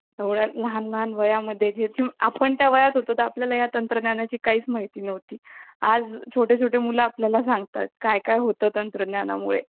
fiveg त्याच्यात काम करणार नाही आणि तुम्ही काम टाकू शकणार नाही त्याचा उलट तुम्ही जर fiveg phone घेतला त त्याच्यात तुम्ही भलेही fourg sim टाका ते चालेल